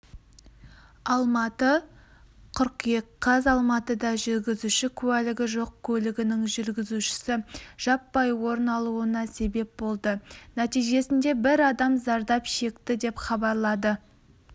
алматы қыркүйек қаз алматыда жүргізуші куәлігі жоқ көлігінің жүргізушісі жаппай орын алуына себеп болды нәтижесінде бір адам зардап шекті деп хабарлады